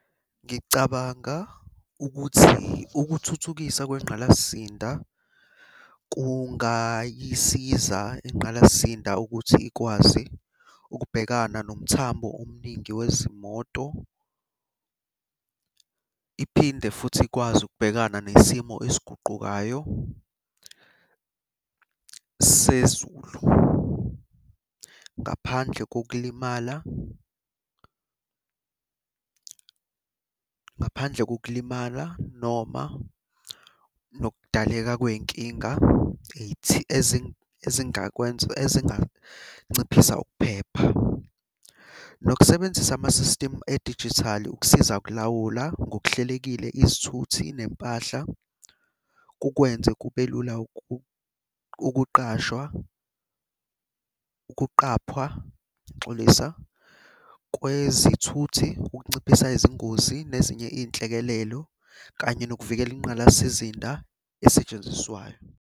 Ngicabanga ukuthi ukuthuthukiswa kwengqalazisinda, kungayisiza ingqalasizinda ukuthi ikwazi ukubhekana nomthamo omningi wezimoto. Iphinde futhi ikwazi ukubhekana nesimo esiguqukayo sezulu. Ngaphandle kokulimala ngaphandle kokulimala noma nokudaleka kwey'nkinga ezingakwenza ezinganciphisa ukuphepha. Nokusebenzisa ama-system edijithali ukusiza ukulawula ngokuhlelekile izithuthi nempahla kukwenze kube lula ukuqashwa, ukuqaphwa, ngiyaxolisa, kwezithuthi kunciphisa izingozi nezinye iy'nhlekelelo kanye nokuvikela ingqalasizinda esetshenziswayo.